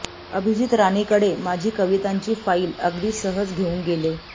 अभिजीत राणे कडे माझी कवितांची फ़ाईल अगदी सहज घेऊन गेले